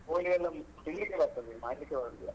ಕೋಳಿಯೆಲ್ಲ ತಿನ್ಲಿಕ್ಕೆ ಬರ್ತದೆ ಮಾಡ್ಲಿಕ್ಕೆ ಬರುದಿಲ್ಲ.